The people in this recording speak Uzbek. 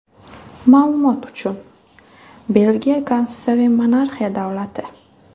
Ma’lumot uchun, Belgiya konstitutsiyaviy monarxiya davlati.